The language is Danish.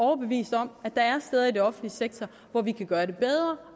overbevist om at der er steder i den offentlige sektor hvor vi kan gøre det bedre